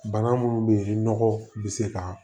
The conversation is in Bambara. Bana minnu bɛ yen ni nɔgɔ bɛ se ka